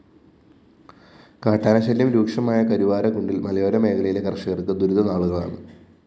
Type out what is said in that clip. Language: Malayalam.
കാട്ടാനശല്യം രൂക്ഷമായ കരുവാരക്കുണ്ടില്‍ മലയോര മേഖയിലെ കര്‍ഷകര്‍ക്ക് ദുരിതനാളുകളാണ്